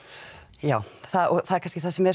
já og það er kannski það sem er